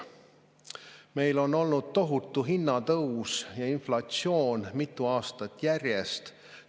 Meil on olnud tohutu hinnatõus ja inflatsioon mitu aastat järjest.